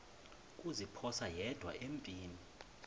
kuziphosa yedwa empini